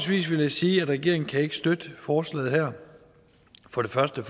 vil jeg sige at regeringen ikke kan støtte forslaget her for det første